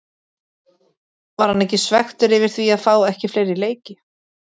Var hann ekki svekktur yfir því að fá ekki fleiri leiki?